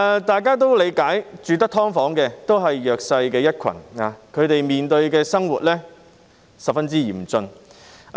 大家也理解，居住在"劏房"的居民也是弱勢一群，他們的生活十分艱困。